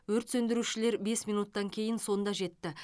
өрт сөндірушілер бес минуттан кейін сонда жетті